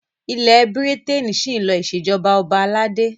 Ilẹ́ Bírítènì ṣí ń lo ìṣèjọba ọba aládé.